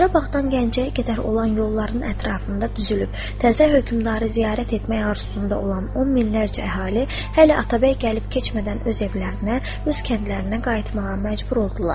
Qarabağdan Gəncəyə qədər olan yolların ətrafında düzülüb, təzə hökmdarı ziyarət etmək arzusunda olan on minlərcə əhali hələ atabəy gəlib keçmədən öz evlərinə, öz kəndlərinə qayıtmağa məcbur oldular.